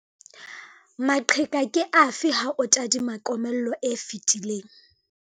Maqheka ke afe ha o tadima komello e fetileng?